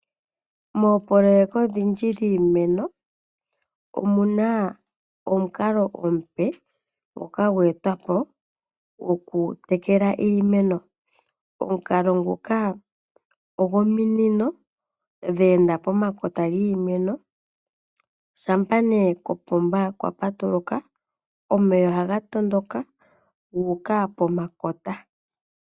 Moopololeka odhindji dhiimeno omuna omukalo omupe ngoka gweetwa po gokutekela iimeno . Omukalo nguka ogo minino dha enda pomakota giimeno. Shampa ne kopomba kwa patuluka omeya ohaga tondoka guuka pomakota.